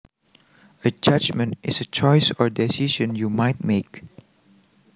A judgment is a choice or decision you might make